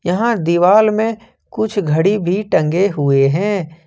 यहां दीवाल में कुछ घड़ी भी टंगे हुए हैं।